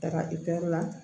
Taga ipɛrɛr la